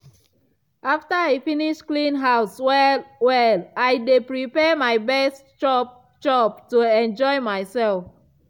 after i finish clean house well-well i dey prepare my best chop-chop to enjoy myself.